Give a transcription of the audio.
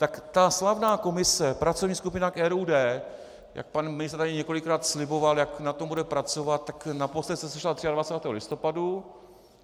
Tak ta slavná komise, pracovní skupina k RUD, jak pan ministr tady několikrát sliboval, jak na tom bude pracovat, tak naposled se sešla 23. listopadu.